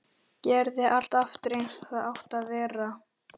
Gerði allt aftur eins og það átti að vera.